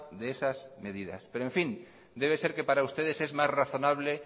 de esas medidas pero en fin debe ser que para ustedes es más razonable